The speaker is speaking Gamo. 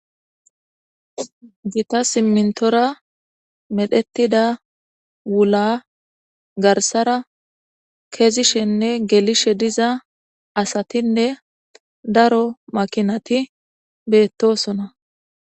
gita simmintora medhetida wula garsara keezishenne gelishe diza asatinne daro makinati beettosona